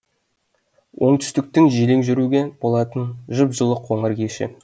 оңтүстіктің желең жүруге болатын жып жылы қоңыр кеші